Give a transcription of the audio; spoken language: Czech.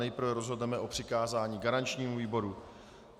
Nejprve rozhodneme o přikázání garančnímu výboru.